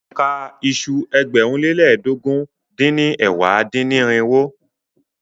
Ka iṣu ẹgbẹ̀rún lé lẹ́ẹdógún dín ní ẹ̀wá dín-ní-irinwó!